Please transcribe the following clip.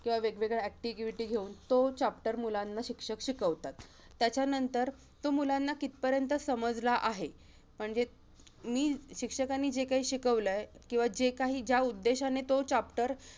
किंवा वेगवेगळ्या activity घेऊन, तो chapter मुलांना शिक्षक शिकवतात. त्याच्यानंतर, तो मुलांना कितपर्यंत समजला आहे. म्हणजे, मी, शिक्षकांनी जे काही शिकवलंय, किंवा जे काही ज्या उद्देशाने तो chapter